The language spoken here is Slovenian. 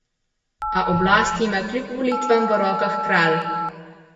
A oblasti ima kljub volitvam v rokah kralj.